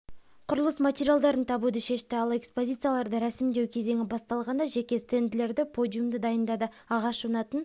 құрылыс материалдарын табуды шешті ал экспозицияларды ресімдеу кезеңі басталғанда жеке стенділерді подиумды дайындады ағаш жонатын